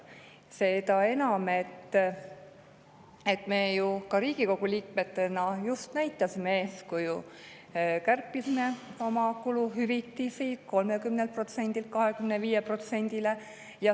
Seda enam, et ka meie, Riigikogu liikmed, just näitasime eeskuju ja kärpisime oma kuluhüvitisi 30%‑lt 25%‑le.